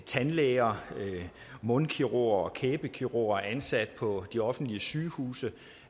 tandlæger mundkirurger og kæbekirurger ansat på de offentlige sygehuse